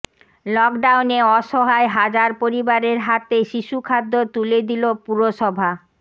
লকডাউনে অসহায় হাজার পরিবারের হাতে শিশুখাদ্য তুলে দিল পুরসভা